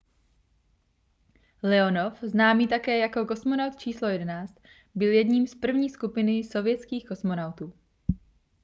leonov známý také jako kosmonaut číslo 11 byl jedním z první skupiny sovětských kosmonautů